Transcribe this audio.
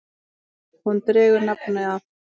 Hún dregur nafn af